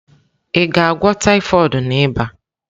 Ị ga-agwọ typhoid na ịba?